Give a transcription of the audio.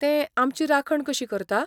तें आमची राखण कशी करता?